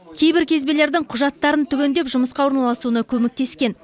кейбір кезбелердің құжаттарын түгендеп жұмысқа орналасуына көмектескен